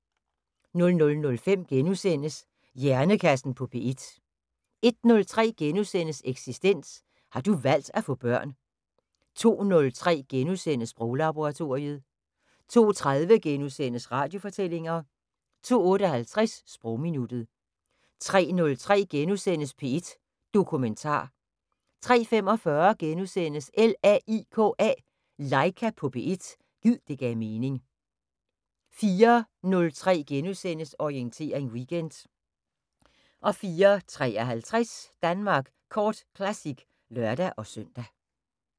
00:05: Hjernekassen på P1 * 01:03: Eksistens: Har du valgt at få børn? * 02:03: Sproglaboratoriet * 02:30: Radiofortællinger * 02:58: Sprogminuttet 03:03: P1 Dokumentar * 03:45: LAIKA på P1 – gid det gav mening * 04:03: Orientering Weekend * 04:53: Danmark Kort Classic (lør-søn)